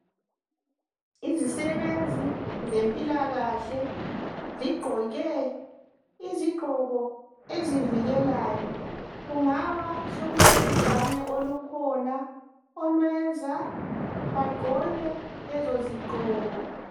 Izisebenzi zempilakahle zigqoke izigqoko ezivikelayo kungaba sokulobhubhane olukhona olwenza bagqoke lezozigqoko.